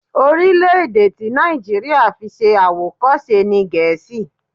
Orílẹ̀-èdè tí Nàìjíríà fi ṣe àwòkọ́ṣe ni Gẹ̀ẹ́sì.